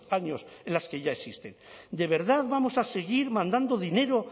años en las que ya existen de verdad vamos a seguir mandando dinero